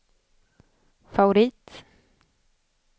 favorit